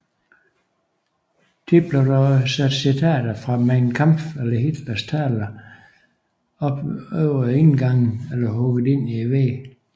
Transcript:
Ofte blev der sat citater fra Mein Kampf eller Hitlers taler op over indgange eller hugget ind i vægge